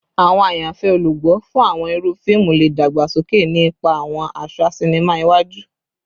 Awọn ayanfẹ olugbo fun awọn iru fiimu le dagbasoke, ni ipa awọn aṣa sinima iwaju